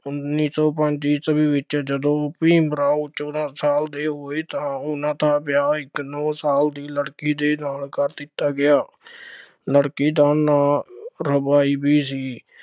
ਉੱਨੀ ਸੌ ਪੰਜ ਈਸਵੀ ਵਿੱਚ ਜਦੋਂ ਭੀਮ ਰਾਓ ਚੋਦਾਂ ਸਾਲ ਦੇ ਹੋਏ ਤਾਂ ਉਹਨਾ ਦਾ ਵਿਆਹ ਇੱਕ ਨੌ ਸਾਲ ਲੜਕੀ ਦੇ ਨਾਲ ਕਰ ਦਿੱਤਾ ਗਿਆ, ਲੜਕੀ ਦਾ ਨਾਂ ਰਾਬਾਈਬੀ ਸੀ।